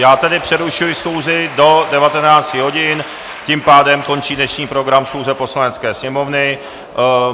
Já tedy přerušuji schůzi do 19 hodin, tím pádem končí dnešní program schůze Poslanecké sněmovny.